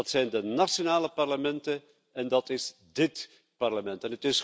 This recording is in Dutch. Dat zijn de nationale parlementen en dat is dit Parlement.